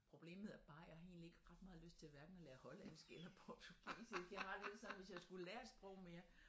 Problemet er bare jeg har egentligt ikke ret meget lyst til hverken at lære hollandsk eller portugisisk jeg har det lidt sådan hvis jeg skulle lære et sprog mere